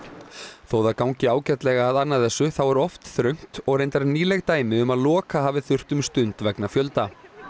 þótt það gangi ágætlega að anna þessu þá er oft þröngt og reyndar nýleg dæmi um að loka hafi þurft um stund vegna fjölda